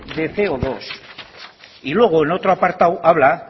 de ce o dos y luego en otro apartado habla